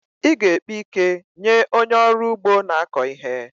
Ị ga-ekpe ike nye onye ọrụ ugbo na-akọ ihe.